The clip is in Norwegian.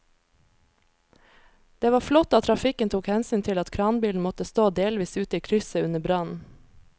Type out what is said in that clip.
Det var flott at trafikken tok hensyn til at kranbilen måtte stå delvis ute i krysset under brannen.